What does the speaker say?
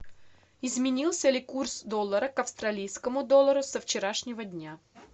изменился ли курс доллара к австралийскому доллару со вчерашнего дня